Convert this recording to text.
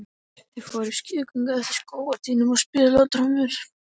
Þau fóru í skrúðgöngu eftir skógarstígnum og spiluðu á trommur.